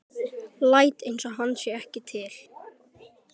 Læt einsog hann sé ekki til.